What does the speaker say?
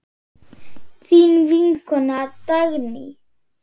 Þín vinkona Dagný.